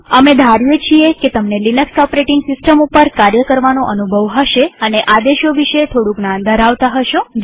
અમે ધારીએ છીએ કે તમને લિનક્સ ઓપરેટીંગ સિસ્ટમ ઉપર કાર્ય કરવાનો અનુભવ હશે અને આદેશો વિશે થોડું જ્ઞાન ધરાવતા હશો